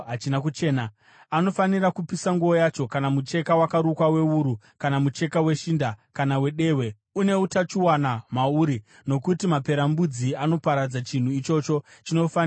Anofanira kupisa nguo yacho, kana mucheka wakarukwa wewuru kana mucheka weshinda, kana wedehwe une utachiona mauri, nokuti maperembudzi anoparadza, chinhu ichocho chinofanira kupiswa.